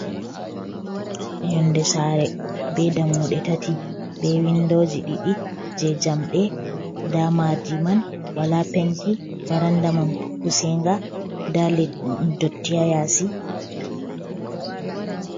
Yonde saare be dammuɗe tati ,be winndooji ɗiɗi ,jey jamɗe ndaa maadi man ,wala penti barannda man pusinga, ndaa ndotti haa yaasi.